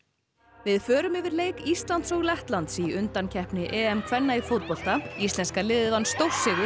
við förum yfir leik Íslands og Lettlands í undankeppni EM kvenna í fótbolta íslenska liðið vann stórsigur